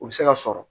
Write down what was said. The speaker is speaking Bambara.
U bɛ se ka sɔrɔ